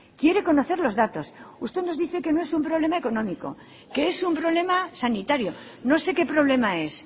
quiere conocer los datos usted nos dice que no es un problema económico que es un problema sanitario no sé qué problema es